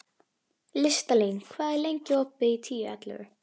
Listalín, hvað er lengi opið í Tíu ellefu?